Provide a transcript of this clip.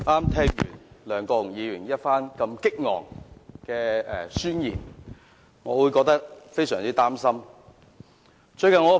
剛聽了梁國雄議員激昂的宣言，我感到非常擔心。